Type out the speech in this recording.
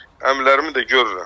Əmilərimi də görürəm.